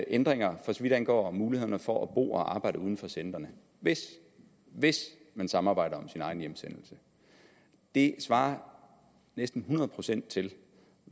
ændringer for så vidt angår mulighederne for at bo og arbejde uden for centrene hvis hvis man samarbejder om sin egen hjemsendelse det svarer næsten hundrede procent til